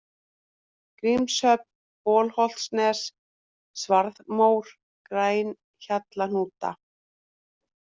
Grímshöfn, Bolholtsnes, Svarðarmór, Grænhjallahnúta